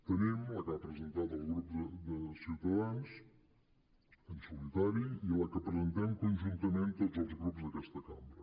te·nim la que ha presentat el grup de ciutadans en solitari i la que presentem con·juntament tots els grups d’aquesta cambra